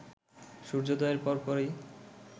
সূর্যোদয়ের পরপরই